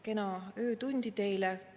Kena öötundi teile!